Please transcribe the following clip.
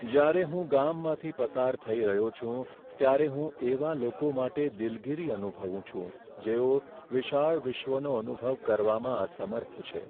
જ્યારે હું ગામમાંથી પસાર થઈ રહ્યો છું, ત્યારે હું એવા લોકો માટે દિલગીરી અનુભવું છું જેઓ વિશાળ વિશ્વનો અનુભવ કરવામાં અસમર્થ છે.